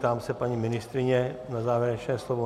Ptám se paní ministryně na závěrečné slovo.